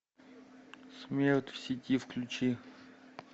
смерть в сети включи